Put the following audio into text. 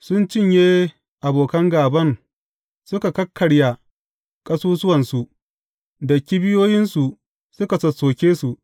Sun cinye abokan gāban, suka kakkarya ƙasusuwansu; da kibiyoyinsu suka sossoke su.